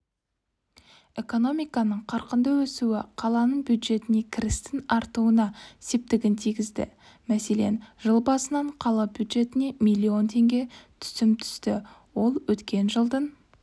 экономиканың қарқынды өсуі қаланың бюджетіне кірістің артуына септігін тигізді мәселен жыл басынан қала бюджетіне миллион теңге түсім түсті ол өткен жылдың